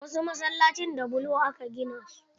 Wasu Masallacin da bulo aka gina su.